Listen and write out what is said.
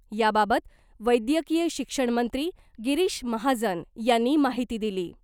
याबाबत वैद्यकीय शिक्षणमंत्री गिरीष महाजन यांनी माहिती दिली .